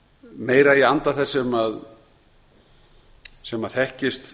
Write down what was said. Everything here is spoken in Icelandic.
meira í anda þess sem þekkist